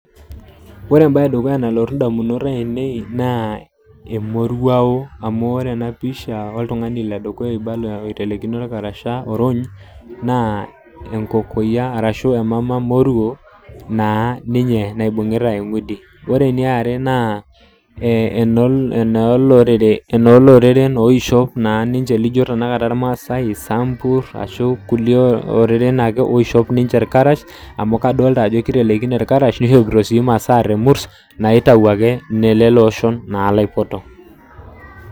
Wore embaye edukuya nalotu indamunot aiinei naa emoruao, amu wore ena pisha oltungani ledukuya oibala oitelekino olkarasha orony, naa enkokoyia arashu emama moruo, naa ninye naibungita eng'udi. Wore eniare naa , enooloreren oishep naa ninche lijo tenakata ilmaasae, isambur ashu kulie ororen ake oishep ninche ilkarash, amu kadoolita ajo kitelekini ninye ilkarash, nishopito sii imasaa temurs naitau aake nelelo oshon naake laipoto.